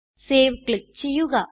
save click ചെയ്യുക